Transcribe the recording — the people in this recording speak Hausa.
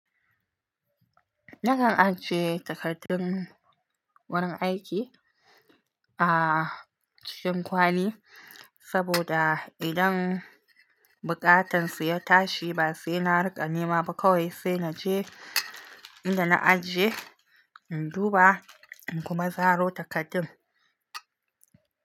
Nakan ajiye takardun wurin aiki a cikin kwali saboda idan bukatansu ya tashi ba sai na rika nema ba kawai sai naje inda na ajiye induba kuma zaro takardin.